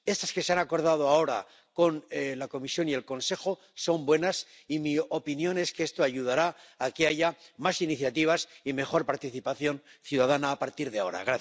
Las que se han acordado ahora con la Comisión y el Consejo son buenas, y mi opinión es que esto ayudará a que haya más iniciativas y mejor participación ciudadana a partir de ahora.